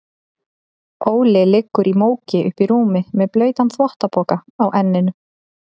Óli liggur í móki uppí rúmi með blautan þvottapoka á enninu.